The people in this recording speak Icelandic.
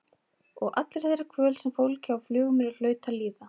Og allri þeirri kvöl sem fólkið á Flugumýri hlaut að líða.